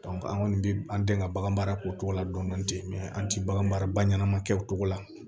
an kɔni bɛ an den ka bagan mara ko ladɔn ten mɛ an tɛ bagan mara ba ɲɛnama kɛ o cogo la